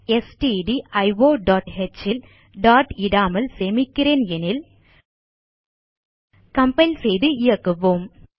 stdioஹ் ல் டாட் இடாமல் சேமிக்கிறேன் எனில் கம்பைல் செய்து இயக்குவோம்